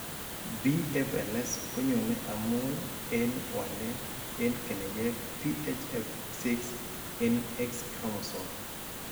BFLS konyoone amun en walet en keneyeek PHF6 en X-chromosome.